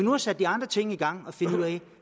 har sat de andre ting i gang for at finde ud af